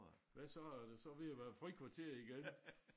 Hvad så er det så ved at være frikvarter igen